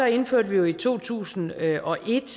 indførte vi jo i to tusind og et